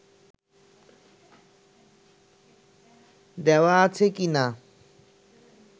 দেওয়া আছে কিনা